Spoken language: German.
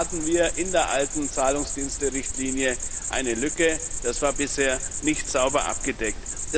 Auch da hatten wir in der alten Zahlungsdiensterichtlinie eine Lücke, das war bisher nicht sauber abgedeckt.